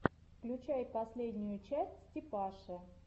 включай последнюю часть степаши